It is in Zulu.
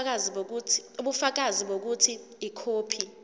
ubufakazi bokuthi ikhophi